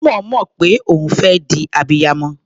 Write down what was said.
Ó máa ń mọ̀ pé òun fẹ́ di abiyamọ.